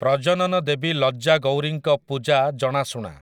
ପ୍ରଜନନ ଦେବୀ ଲଜ୍ଜା ଗୌରୀଙ୍କ ପୂଜା ଜଣାଶୁଣା ।